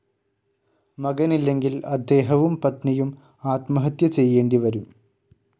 മകനില്ലെങ്കിൽ അദ്ദേഹവും പത്‌നിയും ആത്മഹത്യ ചെയ്യേണ്ടിവരും.